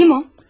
Kim o?